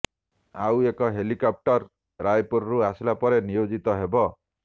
ଆଉ ଏକ ହେଲିକପଟର ରାୟପୁରରେ ଆସିଲା ପରେ ନିୟୋଜିତ ହେବ